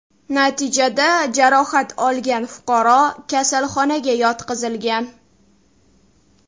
Natijada jarohat olgan fuqaro kasalxonaga yotqizilgan.